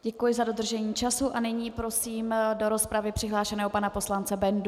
Děkuji za dodržení času a nyní prosím do rozpravy přihlášeného pana poslance Bendu.